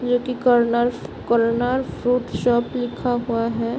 जो कि corner corner fruit shop लिखा हुआ है।